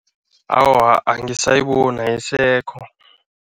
Awa, angisayiboni, ayisekho.